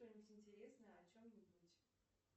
что нибудь интересное о чем нибудь